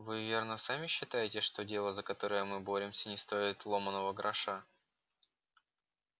вы верно сами считаете что дело за которое мы боремся не стоит ломаного гроша